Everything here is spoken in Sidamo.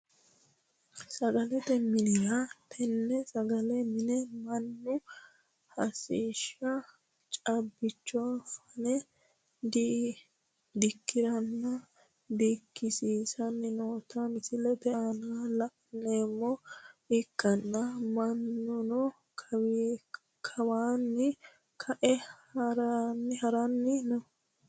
Sagalete mini tenne sagalete mine manu hashsha caabicho fane dikiranina dikisiisani noota misilete aana la`neemoha ikana manuno kawana ka`a harani no.